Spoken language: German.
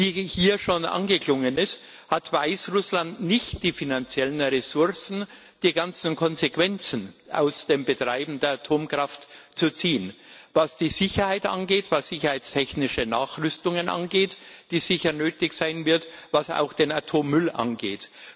Wie hier schon angeklungen ist, hat Weißrussland nicht die finanziellen Ressourcen, die ganzen Konsequenzen aus dem Betreiben der Atomkraft zu ziehen, was die Sicherheit angeht, was sicherheitstechnische Nachrüstungen angeht, die sicher nötig sein werden, was auch den Atommüll angeht.